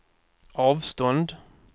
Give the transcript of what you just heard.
avstånd